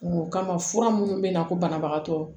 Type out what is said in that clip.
O kama fura minnu bɛ na ko banabagatɔ